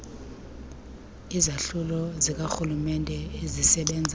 izahlulo zikarhulumenete ezisebenza